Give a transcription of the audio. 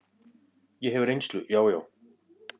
Ég hef reynslu, já, já.